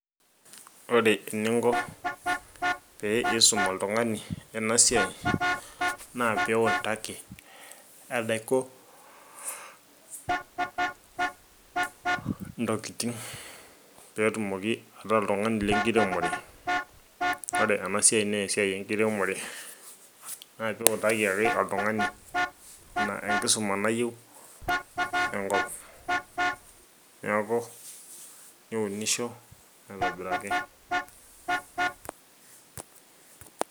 ore eninko pee isum oltung'ani ena siai naa pitaki enaiko ntokiting petumoki ataa oltung'ani lenkiremore ore ena siai naa esiai enkiremore naa piutaki ake oltung'ani ina enkisuma nayiieu enkop neku niunisho aitobiraki.